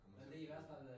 Nu må vi se